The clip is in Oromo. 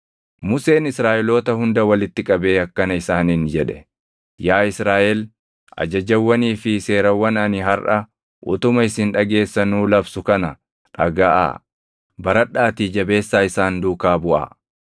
Museen Israaʼeloota hunda walitti qabee akkana isaaniin jedhe: Yaa Israaʼel ajajawwanii fi seerawwan ani harʼa utuma isin dhageessanuu labsu kana dhagaʼaa. Baradhaatii jabeessaa isaan duukaa buʼaa.